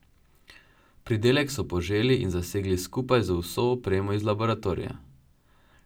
Pridelek so poželi in zasegli skupaj z vso opremo iz laboratorija.